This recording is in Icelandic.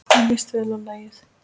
Mér líst vel á lagið.